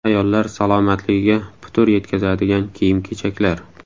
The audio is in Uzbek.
Ayollar salomatligiga putur yetkazadigan kiyim-kechaklar.